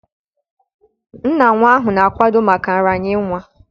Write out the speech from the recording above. Nna nwa ahụ na-akwado maka nraranye nwa